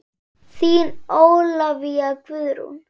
Þín Ólafía Guðrún.